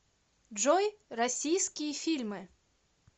джой россииские фильмы